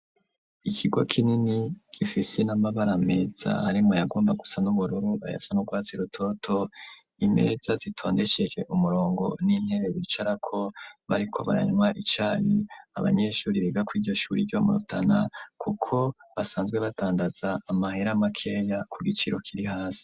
Ikigo kinini gifise n'amabara meza arimwo ayagomba gusa n'ubururu ayasa, n'urwatsi rutoto imeza zitondesheje umurongo n'intebe bicarako bariko baranwa icayi abanyeshure biga kuri iryo shure ryo murutana kuko basanzwe batandaza amahera makeya ku giciro kiri hasi.